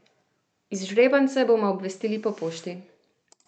Izžrebance bomo obvestili po pošti.